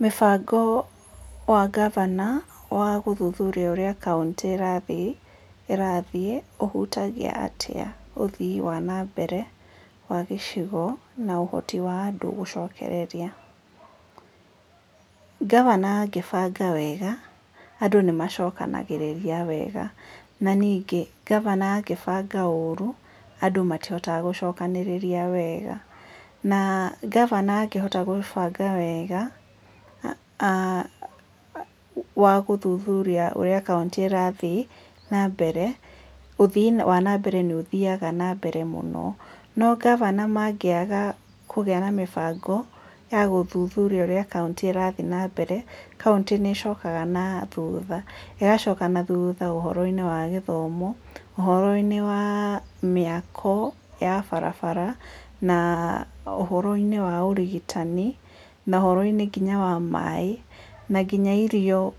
Mũbango wa gavana wa gũthuthuria ũrĩa kaunti ĩrathiĩ ũhutagia atĩa ũthii wa na mbere wa gĩcigo na ũhoti wa andũ gũcokereria? Gavana angĩbanga wega andũ nĩ macokanagĩrĩria wega na ningĩ gavana angĩbanga ũru andũ matihotaga gũchokanĩrĩria wega, na gavana angĩhota gũbanga wega gũthuthuria ũrĩa kaũntĩ ĩrathiĩ na mbere, ũthii wa na mbere nĩ ũthiga na mbere mũno, no gavana mangĩaga kũgĩa na mũbango ya gũthuthuria ũrĩa kaũntĩ ĩrathiĩ na mbere kaũntĩ nĩ cokaga na thutha, ĩgacoka na thutha ũhoroinĩ wa gĩthomo ũhoro-inĩ wa mĩako ya barabara na ũhoro-inĩ wa ũrigutani na ũhoro-inĩ nginya wa maĩ na nginya irio